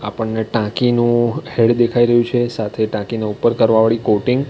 આપણને ટાંકીનું હેડ દેખાઈ રહ્યું છે સાથે ટાંકી ને ઉપર કરવા વાળી કોટિંગ.